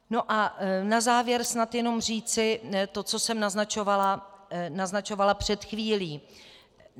No a na závěr snad jenom říci to, co jsem naznačovala před chvílí.